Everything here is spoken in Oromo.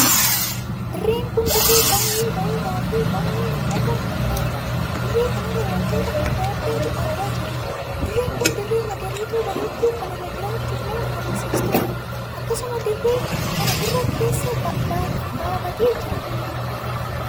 Dirreen kun dirree baay'ee bareedaa Fi baay'ee miidhagaa kan taheedha. dirree kanarraa wantoota addaa addaa argaa jirtaa. Dirreen kun dirree magariituu bareeddu kan irraa jiraachuuf nama hawwisiistudha. akkasuma dirree kana irraa karaa keessa baafatee jira.